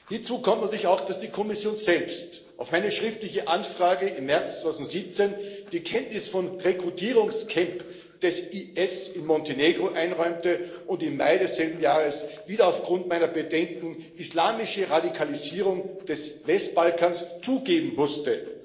Hinzu kommt natürlich auch, dass die Kommission selbst auf meine schriftliche Anfrage im März 2017 die Kenntnis vom Rekrutierungscamp des IS in Montenegro einräumte und im Mai desselben Jahres, wieder aufgrund meiner Bedenken, islamische Radikalisierung des Westbalkans zugeben musste.